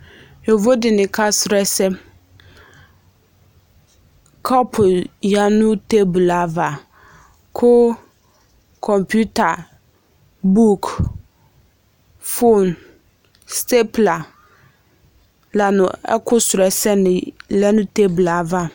Yovo de ne ka srɔ ɛsɛ Kɔpu ya no teblu ava ko komputa, buk, fon stepula la no ɛku srɔ ɛsɛ ne lɛ no teblu ava